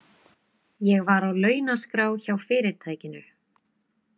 Ég var á launaskrá hjá fyrirtækinu.